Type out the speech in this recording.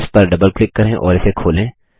इस पर double click करें और इसे खोलें